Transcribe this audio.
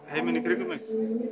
heiminn í kringum mig